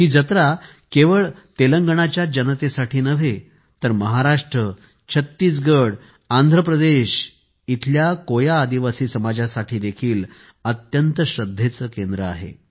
ही जत्रा केवळ तेलंगणाच्याच जनतेसाठी नव्हे तर महाराष्ट्र छत्तीसगड आणि आंध्रप्रदेश मधील कोया आदिवासी समाजासाठी देखील अत्यंत श्रद्धेचे केंद्र आहे